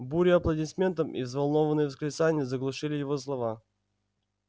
буря аплодисментов и взволнованные восклицания заглушили его слова